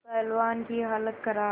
पहलवान की हालत खराब